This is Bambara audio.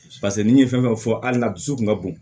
paseke ni ye fɛn fɛn fɔ hali dusu kun ka bon